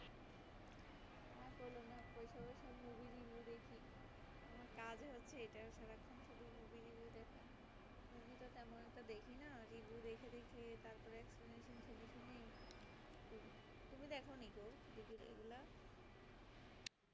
আমার কাজ হয়েছে সারাক্ষণ শুধু এই movie review দেখা movie তো তেমন দেখনা review দেখে দেখে তারপরে শুনে শুনে তুমি দেখনি গো এইগুলা?